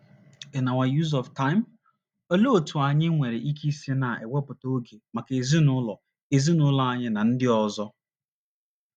n our use of time? Olee otú anyị nwere ike isi na - ewepụta oge maka ezinụlọ ezinụlọ anyị na ndị ọzọ?